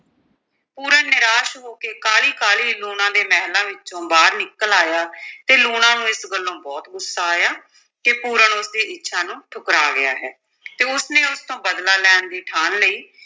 ਪੂਰਨ ਨਿਰਾਸ਼ ਹੋ ਕੇ ਕਾਹਲੀ-ਕਾਹਲੀ ਲੂਣਾ ਦੇ ਮਹਿਲਾਂ ਵਿੱਚੋਂ ਬਾਹਰ ਨਿਕਲ ਆਇਆ ਤੇ ਲੂਣਾ ਨੂੰ ਇਸ ਗੱਲੋਂ ਬਹੁਤ ਗੁੱਸਾ ਆਇਆ ਕਿ ਪੂਰਨ ਉਸ ਦੀ ਇੱਛਾ ਨੂੰ ਠੁਕਰਾ ਗਿਆ ਹੈ ਤੇ ਉਸ ਨੇ ਉਸ ਤੋਂ ਬਦਲਾ ਲੈਣ ਦੀ ਠਾਣ ਲਈ।